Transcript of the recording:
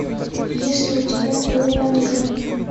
есть ли у тебя дориан грей